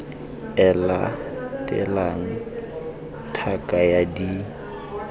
e latelang tlhaka ya d